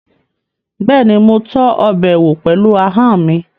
Bẹ́ẹ̀ni, mo tọ́ ọbẹ̀ wò pẹ̀lú ahọ́n mi